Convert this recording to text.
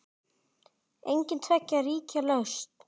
Engin tveggja ríkja lausn?